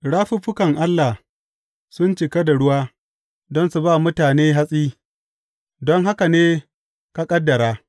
Rafuffukan Allah sun cika da ruwa don su ba mutane hatsi, don haka ne ka ƙaddara.